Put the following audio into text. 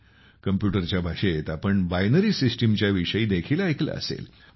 Computerच्या भाषेत आपण binary system च्या विषयी देखील ऐकले असेल